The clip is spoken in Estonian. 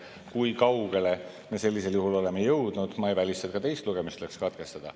Kui kaugele me sellisel juhul oleme jõudnud – ma ei välista, et ka teine lugemine tuleks katkestada.